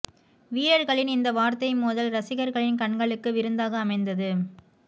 வீரர்களின் இந்த வார்த்தை மோதல் ரசிகர்களின் கண்களுக்கு விருந்தாக அமைந்தது